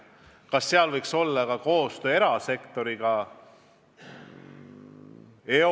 Kas seal võiks olla koostöö erasektoriga?